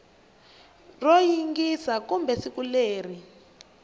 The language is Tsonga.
ro xiyisisa kumbe siku leri